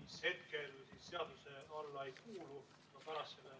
mis hetkel seaduse alla ei kuulu, aga pärast seda ...